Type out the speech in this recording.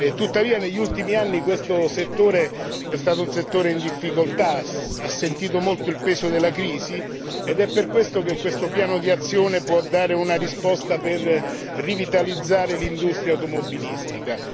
tuttavia negli ultimi anni questo settore è stato un settore in difficoltà che ha sentito molto il peso della crisi ed è per questo che questo piano d'azione può dare una risposta per rivitalizzare l'industria automobilistica.